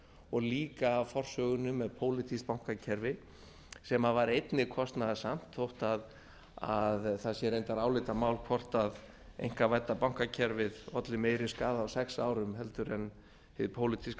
og líka að forsögunni með pólitískt bankakerfi sem var einnig kostnaðarsamt þó það sé reyndar einnig álitamál hvort einkavædda bankakerfið olli meira skaða á sex árum heldur en hið pólitíska